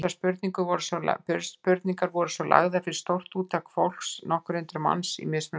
Þessar spurningar voru svo lagðar fyrir stórt úrtak fólks, nokkur hundruð manns, í mismunandi starfsgreinum.